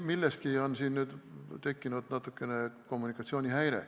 Millestki on nüüd tekkinud väike kommunikatsioonihäire.